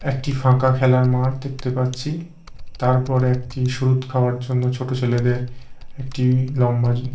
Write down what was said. একটি ফাঁকা খেলার মাঠ দেখতে পাচ্ছি তারপরে একটি সুরুৎ খাওয়ার জন্য ছোট ছেলেদের একটি লম্বা--